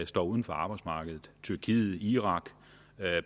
står uden for arbejdsmarkedet tyrkiet irak